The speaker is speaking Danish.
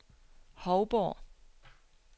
Hovborg